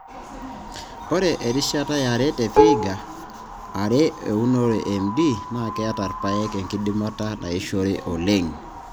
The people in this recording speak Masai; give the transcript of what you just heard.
Ore erishata yare te Vihiga ore eunore e MD naa keeta irpaek enkidimata naishore alang M tenebo o MD.